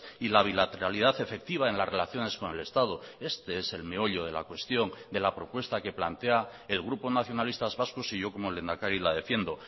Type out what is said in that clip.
y la bilateralidad efectiva en las relaciones con el estado este es el meollo de la cuestión de la propuesta que plantea el grupo nacionalistas vascos y yo como lehendakari la defiendo